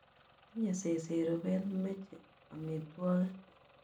Tinye seset rubet, meche amitwogik.